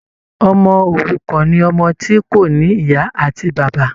Ọmọ òrukàn ni ọmọ tí kò ní ìyá àti bàbá.